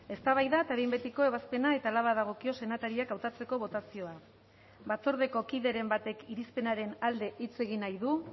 eztabaida eta behin betiko ebazpena eta hala badagokio senatariak hautatzeko botazioa batzordeko kideren batek irizpenaren alde hitz egin nahi du